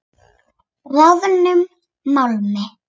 Bráðnum málmi.